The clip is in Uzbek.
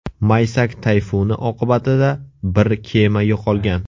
Maysak tayfuni oqibatida bir kema yo‘qolgan.